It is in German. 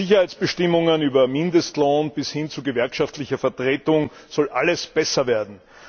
Von Sicherheitsbestimmungen über Mindestlohn bis hin zu gewerkschaftlicher Vertretung soll alles besser werden.